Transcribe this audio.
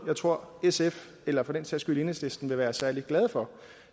jeg tror sf eller for den sags skyld enhedslisten vil være særlig glade for